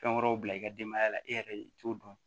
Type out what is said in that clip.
Fɛn wɛrɛw bila i ka denbaya la e yɛrɛ de t'o dɔn